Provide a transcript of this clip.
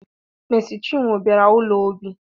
Mesi chinwo bịara ụlọ Obi